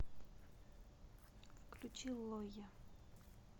включи лойя